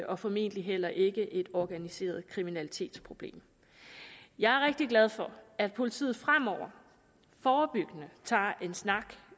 og formentlig heller ikke et organiseret kriminalitetsproblem jeg er rigtig glad for at politiet fremover forebyggende tager en snak